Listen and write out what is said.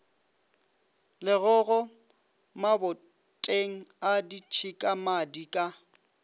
legogo maboteng a ditšhikamadi ka